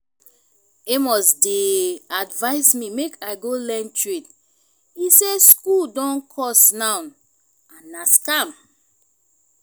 amos dey advise me make i go learn trade he say school don cost now and na scam